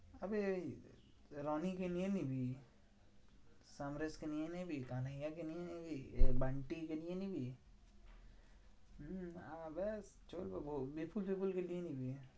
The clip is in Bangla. এই রনি কে নিয়ে নিবি, সমরেশ কে নিয়ে নিবি, কানাইয়া কে নিয়ে নিবি, এ বান্টি কে নিয়ে নিবি হম আমার ব্যাস চললো বিপুল সিপুল কে নিয়ে নিবি।